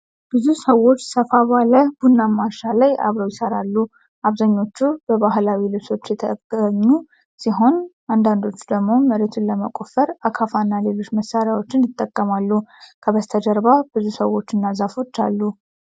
ብዙ ሰዎች ሰፋ ባለ ቡናማ እርሻ ላይ አብረው ይሰራሉ። አብዛኞቹ በባህላዊ ልብሶች የተገኙ ሲሆን አንዳንዶቹ ደግሞ መሬቱን ለመቆፈር አካፋና ሌሎች መሳሪያዎችን ይጠቀማሉ። ከበስተጀርባ ብዙ ሰዎች እና ዛፎች አሉ።